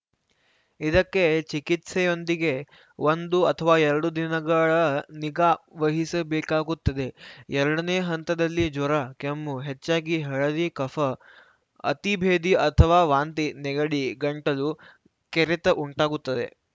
ಇದಕ್ಕೆ ಚಿಕಿತ್ಸೆಯೊಂದಿಗೆ ಒಂದು ಅಥವ ಎರಡು ದಿನಗಳ ನಿಗಾ ವಹಿಸಬೇಕಾಗುತ್ತದೆ ಎರಡನೇ ಹಂತದಲ್ಲಿ ಜ್ವರ ಕೆಮ್ಮು ಹೆಚ್ಚಾಗಿ ಹಳದಿ ಕಫ ಅತಿ ಭೇದಿ ಅಥವಾ ವಾಂತಿ ನೆಗಡಿ ಗಂಟಲು ಕೆರೆತ ಉಂಟಾಗುತ್ತದೆ